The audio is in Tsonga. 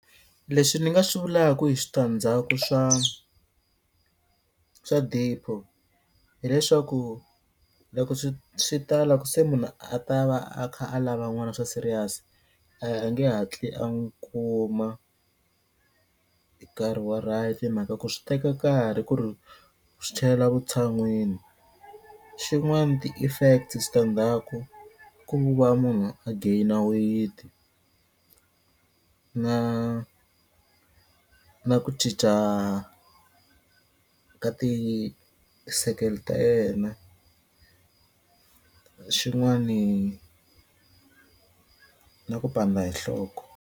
Leswi ni nga swi vulaku hi switandzhaku swa swa DEPO hileswaku loko swi ta la ku se munhu a ta va a kha a lava n'wana swa serious a nge hatli a n'wu kuma hi karhi wa right hi mhaka ku swi teka karhi ku ri swi tlhelela vutshan'wini xin'wani ti-effect switandzhaku ku va munhu a gain-a weight-i na na ku cinca ka ti-circle ta yena xin'wani na ku pandza hi nhloko.